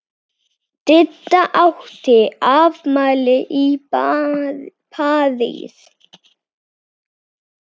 Didda átti afmæli í París.